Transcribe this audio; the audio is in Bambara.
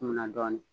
Munna dɔɔnin